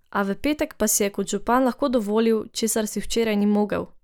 A v petek pa si je kot župan lahko dovolil, česar si včeraj ni mogel?